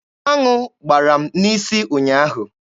Aṅụ gbara m n'isi ụnyaahụ.